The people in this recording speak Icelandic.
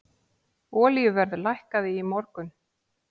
Olíuverð lækkaði í morgun.